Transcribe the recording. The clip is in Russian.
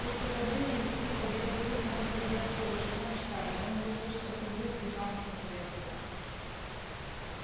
после падения лип липа белый клык мог бы сделаться вожаком стаи но он был слишком угрюм и замкнут для этого